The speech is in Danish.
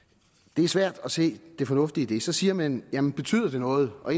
det er svært at se det fornuftige i det så siger man jamen betyder det noget og